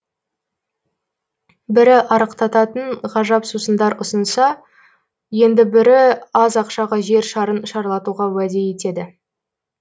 бірі арықтататын ғажап сусындар ұсынса енді бірі аз ақшаға жер шарын шарлатуға уәде етеді